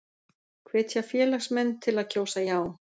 Hvetja félagsmenn til að kjósa já